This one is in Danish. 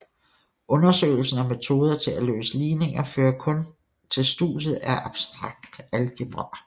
Undersøgelsen af metoder til at løse ligninger fører til studiet af abstrakt algebra